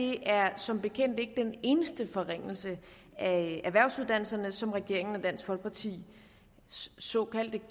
er som bekendt ikke den eneste forringelse af erhvervsuddannelserne som regeringen og dansk folkepartis såkaldte